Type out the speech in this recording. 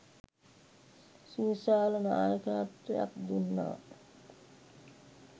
සුවිශාල නායකත්වයක් දුන්නා